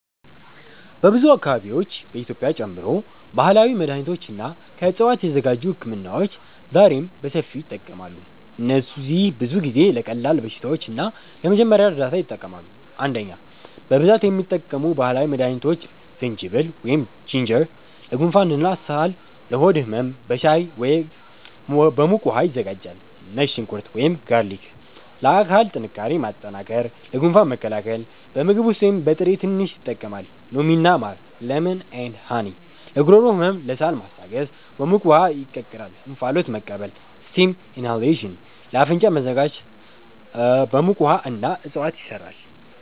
በብዙ አካባቢዎች (በኢትዮጵያ ጨምሮ) ባህላዊ መድሃኒቶች እና ከዕፅዋት የተዘጋጁ ህክምናዎች ዛሬም በሰፊው ይጠቀማሉ። እነዚህ ብዙ ጊዜ ለቀላል በሽታዎች እና ለመጀመሪያ እርዳታ ይጠቅማሉ። 1) በብዛት የሚጠቀሙ ባህላዊ መድሃኒቶች ዝንጅብል (Ginger) ለጉንፋን እና ሳል ለሆድ ህመም በሻይ ወይም በሙቅ ውሃ ይዘጋጃል ነጭ ሽንኩርት (Garlic) ለአካል ጥንካሬ ማጠናከር ለጉንፋን መከላከል በምግብ ውስጥ ወይም በጥሬ ትንሽ ይጠቀማል ሎሚ እና ማር (Lemon & Honey) ለጉሮሮ ህመም ለሳል ማስታገስ በሙቅ ውሃ ይቀላቀላል እንፋሎት መቀበል (Steam inhalation) ለአፍንጫ መዘጋት በሙቅ ውሃ እና እፅዋት ይሰራል